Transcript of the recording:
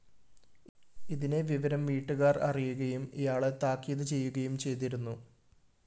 ഇതിനെ വിവരം വീട്ടുകാര്‍ അിറയുകയും ഇയാളെ താക്കീത് ചെയ്യുകയും ചെയ്തിരുന്നു